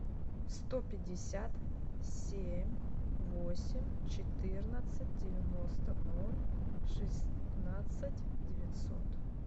сто пятьдесят семь восемь четырнадцать девяносто ноль шестнадцать девятьсот